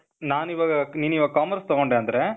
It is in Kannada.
ನಾನಿವಾಗ, ನೀನಿವಾಗ್ commerce ತಗೊಂಡೆ ಅಂದ್ರೆ,